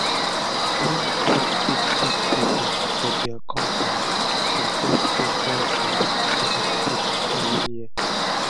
na only top big big pipu for dia compani dey get special chance to meet pipu everi year